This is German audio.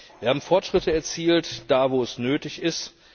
Wir haben Fortschritte erzielt, da, wo es nötig ist.